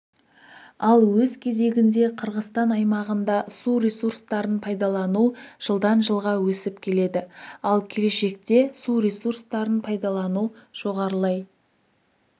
ал өз кезегінде қырғызстан аймағында су ресурстарын пайдалану жылдан жылға өсіп келеді ал келешекте су ресурстарын пайдалану жоғарылай